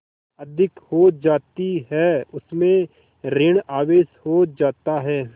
अधिक हो जाती है उसमें ॠण आवेश हो जाता है